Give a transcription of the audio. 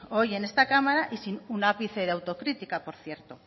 hoy en esta cámara y sin ápice de autocrítica por cierto